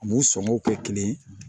U sɔngɔw tɛ kelen ye